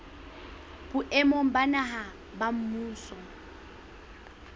boemong ba naha ba mmuso